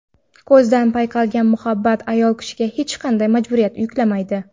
Ko‘zdan payqalgan muhabbat ayol kishiga hech qanday majburiyat yuklamaydi.